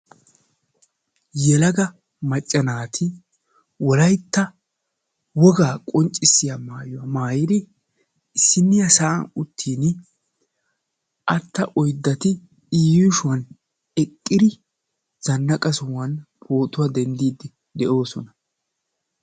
yelaga macca naati wolaytta wogaa qonccisiya danguzzaa maayidi wolayta naatuura issippe zanaqa sohuwan dendiidi de'oosona.